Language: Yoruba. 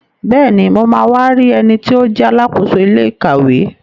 Bẹ́ẹ̀ni, mo ma wá rí ẹniti ó jẹ́ Alákóso ilé ìkàwé